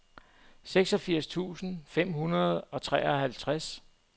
seksogfirs tusind fem hundrede og treoghalvtreds